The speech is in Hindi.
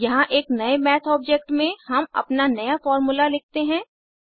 यहाँ एक नए मैथ ऑब्जेक्ट में हम अपना नया फार्मूला लिखते हैं